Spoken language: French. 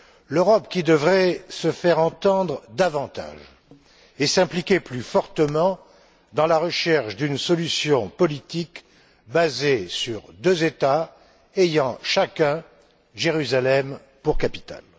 L'Europe qui devrait se faire entendre davantage et s'impliquer plus fortement dans la recherche d'une solution politique basée sur deux États ayant chacun Jérusalem pour capitale.